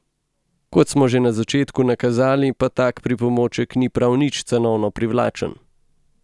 Kot smo že na začetku nakazali, pa tak pripomoček ni prav nič cenovno privlačen.